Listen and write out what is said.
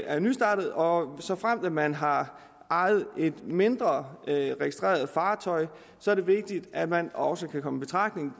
er nystartet og såfremt man har ejet et mindre registreret fartøj er det vigtigt at man også kan komme i betragtning